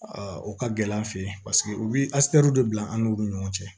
o ka gɛlɛn an fɛ yen paseke u bɛ bila an n'olu ni ɲɔgɔn cɛ